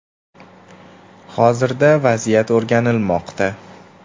“Hozirda vaziyat o‘rganilmoqda.